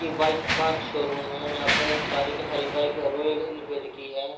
ये बाइक का शोरूम है। यहाँ पर सारी की सारी बाइक रॉयल इन फिल्ड की हैं।